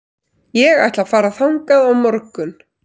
Ég ætla að fara þangað á morgun.